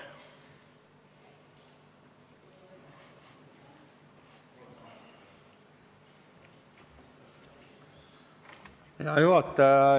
Hea juhataja!